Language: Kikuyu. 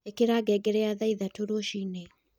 ĩkĩra ngengere ya thaa ĩthatũ rũcĩĩnĩ